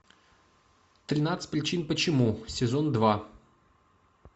тринадцать причин почему сезон два